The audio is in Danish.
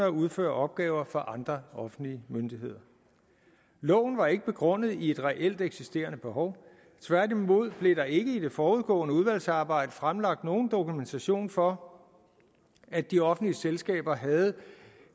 at udføre opgaver for andre offentlige myndigheder loven var ikke begrundet i et reelt eksisterende behov tværtimod blev der ikke i det forudgående udvalgsarbejde fremlagt nogen dokumentation for at de offentlige selskaber havde